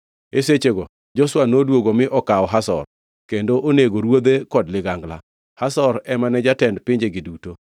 E sechego Joshua noduogo mi okawo Hazor kendo onego ruodhe kod ligangla. Hazor ema ne jatend pinjegi duto.